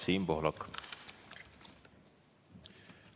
Siim Pohlak, palun!